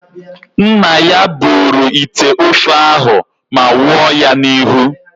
Nna ya buru ite ofe ahụ ma wụọ ya n'ihu.